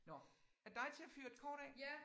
Nåh er det dig til at fyre et kort af?